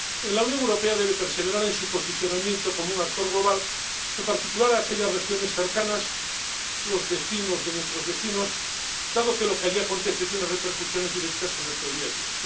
La Unión Europea debe perseverar en su posicionamiento como un actor global, en particular, en aquellas regiones cercanas —los vecinos de nuestros vecinos—, dado que lo que allí acontece tiene repercusiones directas en nuestro día a día.